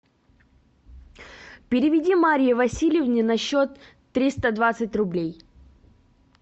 переведи марье васильевне на счет триста двадцать рублей